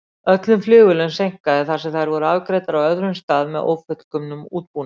Öllum flugvélum seinkaði þar sem þær voru afgreiddar á öðrum stað með ófullkomnum útbúnaði.